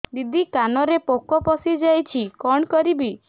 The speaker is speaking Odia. ଦିଦି କାନରେ ପୋକ ପଶିଯାଇଛି କଣ କରିଵି